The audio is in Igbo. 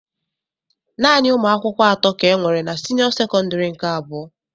Naanị umuakwukwo atọ ka enwere na senio sekondari nke abụọ.